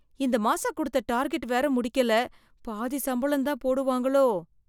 இந்த மாசம் கொடுத்த டார்கெட் வேற முடிக்கல, பாதி சம்பளம் தான் போடுவாங்களோ.